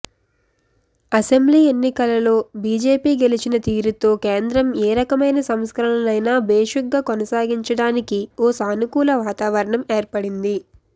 assembly ఎన్నికలలో BJP గెలిచిన తీరుతో కేంద్రం ఏ రకమైన సంస్కరణలనైనా భేషుగ్గా కొనసాగించడానికి ఓ సానుకూల వాతావరణం ఏర్పడింది